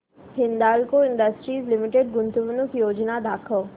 Hindalco industries limited गुंतवणूक योजना दाखव